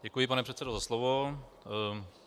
Děkuji, pane předsedo, za slovo.